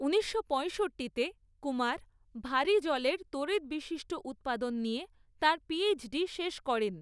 ঊনিশশো পঁয়ষট্টিতে কুমার ভারী জলের তড়িৎ বিশিষ্ট উৎপাদন নিয়ে তাঁর পিএইচডি শেষ করেন।